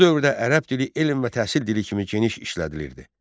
Bu dövrdə ərəb dili elm və təhsil dili kimi geniş işlədilirdi.